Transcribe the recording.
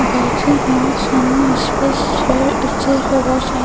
बैठे हुए हैं और सामने स्पेस है इस चेयर पे बहुत सारे --